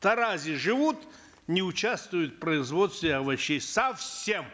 таразе живут не участвуют в производстве овощей совсем